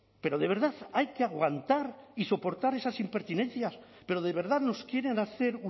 pero de verdad hay que aguantar y soportar esas impertinencias pero de verdad nos quieren hacer